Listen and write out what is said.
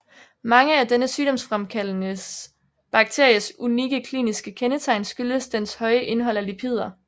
Mange af denne sygdomsfremkaldende bakteries unikke kliniske kendetegn skyldes dens høje indhold af lipider